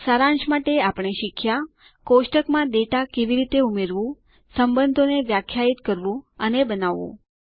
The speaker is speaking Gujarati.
સારાંશ માટે આપણે શીખ્યા કોષ્ટકમાં ડેટા કેવી રીતે ઉમેરવું સંબંધો ને વ્યાખ્યાયિત કરવું અને બનાવવું